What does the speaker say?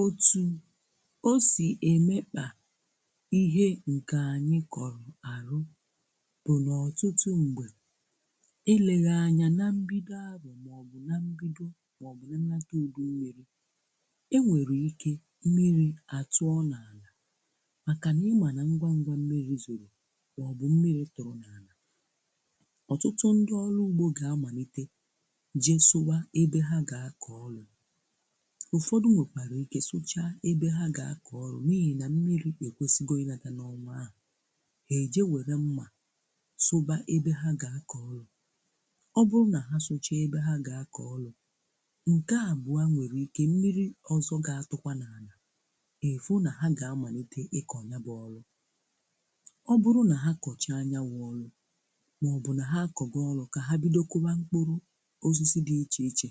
Otu o si emekpa ihe nke anyị kọrụ ahụ bụ na ọtụtụ mgbe, eleghị anya na mbido arọ̀ maọbụ na mbido maọbụ na nnata udu mmiri, e nwere ike mmiri a tụọ n'ala makana ị ma na ngwa ngwa mmiri zoro maọbụ mmiri tụrụ n'ana, ọtụtụ ndị ọrụ ugbo ga-amalite jee sụwa ebe ha ga-akọ ọrụ. Ụfọdụ nwekwara ike sụchaa ebe ha ga-akọ ọrụ n'ihina mmiri ekwesịgo ịnata n'ọnwa a. Ha ejee were mma sụ́ba ebe ha ga-akọ ọrụ. Ọ bụrụ na ha sụchaa ebw ha ga-akọ ọrụ, nke abụa nwere ike mmiri ọzọ ga-atụkwa n'ana, ị fụ na ha ga-amalite ịkọ nya bụ ọrụ. Ọ bụrụ na ha kọchaa nya wụ ọlụ, maọbụ na ha a kọgo ọlụ ka ha bido kụwa mkpụrụ osisi dị iche iche,